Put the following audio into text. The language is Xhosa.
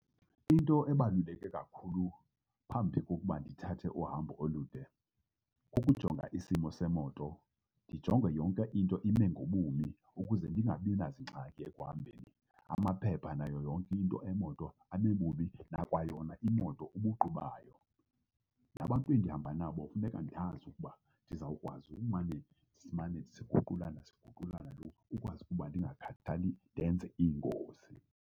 Into ebaluleke kakhulu phambi kokuba ndithathe uhambo olude kukujonga isimo semoto, ndijonge yonke into ime ngobumi ukuze ndingabi nazingxaki ekuhambeni. Amaphepha nayo yonke into emoto ame bumi, nakwayona imoto ubuqu bayo. Nabantu endihamba nabo funeka ndiyazi ukuba ndizawukwazi umane simane siguqulana siguqulana lo, ukwazi ukuba ndingakhali ndenze iingozi.